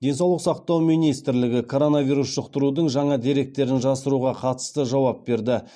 денсаулық сақтау министрлігі коронавирус жұқтырудың жаңа деректерін жасыруға қатысты жауап берді